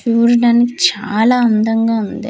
చూడడానికి చాలా అందంగా వుంది.